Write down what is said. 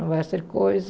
Não vai ser coisa.